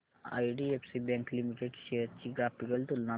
IDFC bank limited shares ची graphical तुलना दाखव